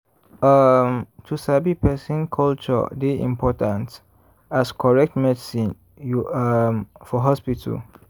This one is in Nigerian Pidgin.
um to sabi person culture dey important as correct medicine you um for hospital.